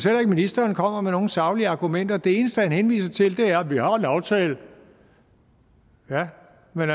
at ministeren kommer med nogle saglige argumenter det eneste han henviser til er vi har en aftale ja men